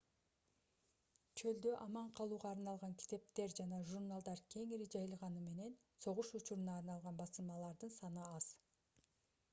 чөлдө аман калууга арналган китептер жана журналдар кеңири жайылганы менен согуш учуруна арналган басылмалардын саны аз